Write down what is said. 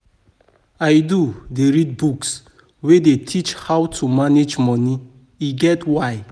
I do dey read books wey dey teach how to manage money, e get why.